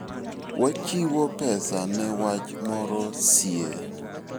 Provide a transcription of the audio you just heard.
Wachiwo pesa ne wach moro sie.